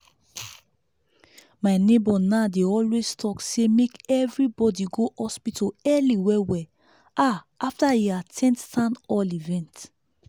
my neighbor now dey always talk say make everybody go hospital early well well ah after e at ten d town hall event.